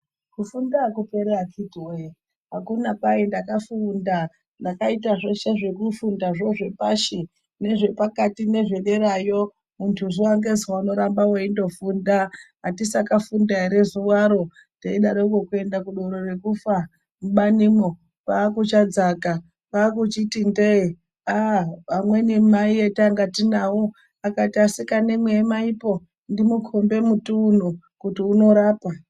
Kufunda akuperi akiti woye akuna kwai nddakafunda ndakaita zvese zvekufunda zvo zvepashi nezvepakati nezvederayo. Muntu zuva ngezuva unoramba weingofunda atisakafunda ere zuwaro teidaroko kuenda kudoro rekufa mubanimwo kwakuchadzaka kwakuchiyi ndee. Amweni Mai vatainga navo kwakuti vasikanamwi emaipo ndimukombe muti unyo kuti unorapa